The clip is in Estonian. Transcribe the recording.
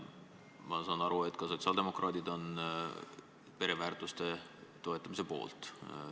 Ma saan aru, et ka sotsiaaldemokraadid on pereväärtuste toetamise poolt.